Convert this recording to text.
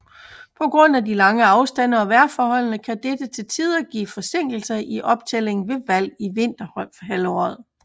På grund af de lange afstande og vejrforholdene kan dette til tider give forsinkelser i optællingen ved valg i vinterhalvåret